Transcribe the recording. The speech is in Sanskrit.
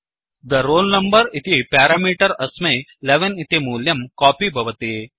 the roll number इति प्यारामीटर् अस्मै 11 इति मूल्यं कोपि भवति